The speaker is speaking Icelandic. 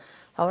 þá